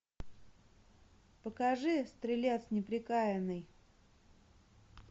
покажи стрелец неприкаянный